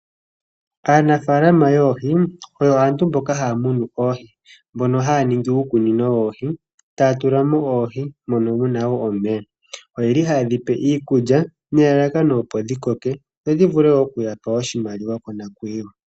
Aanafalama yoohi oyo aantu mboka haya munu oohi, mbono haya ningi uukunino woohi taya tulamo oohi mono muna wo omeya, oye li haye dhipe iikulya nelalakano opo dhi koke dhodhi vule okuyapa oshimaliwa monakwiiwa.